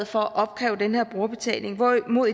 for at opkræve den her brugerbetaling hvorimod